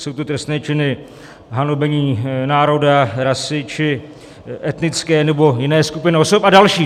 Jsou to trestné činy hanobení národa, rasy či etnické nebo jiné skupiny osob a další.